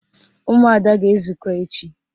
Ụmụada ga-ezukọ echi